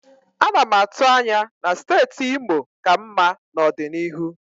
Ana m atụ anya na steeti Imo ka mma n'ọdịnihu.